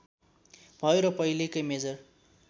भयो र पहिलेकै मेजर